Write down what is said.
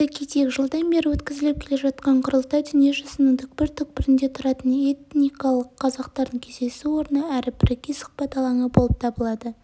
айта кетейік жылдан бері өткізіліп келе жатқан құрылтай дүниежүзінің түкпір-түкпірінде тұратын этникалық қазақтардың кездесу орны әрі бірегей сұхбат алаңы болып табылады